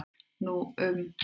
Nú um